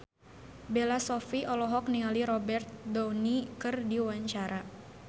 Bella Shofie olohok ningali Robert Downey keur diwawancara